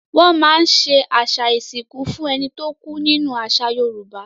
Wọ́n máa ń ṣe àṣà ìsìnkú fún ẹni tó kú nínú àṣà Yorùbá.